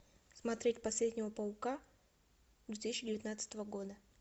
смотреть последнего паука две тысячи девятнадцатого года